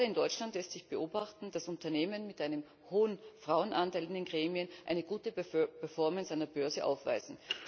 Gerade in Deutschland lässt sich beobachten, dass Unternehmen mit einem hohen Frauenanteil in den Gremien eine gute Performance an der Börse aufweisen.